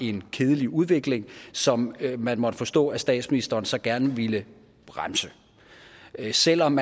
en kedelig udvikling som man måtte forstå at statsministeren så gerne ville bremse selv om